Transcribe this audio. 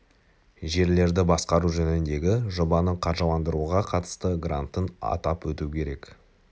жерлерді басқару жөніндегі жобаны қаржыландыруға қатысты грантын атап өту керек